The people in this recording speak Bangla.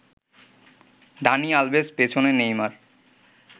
দানি আলভেস, পেছনে নেইমার